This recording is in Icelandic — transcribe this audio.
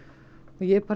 og ég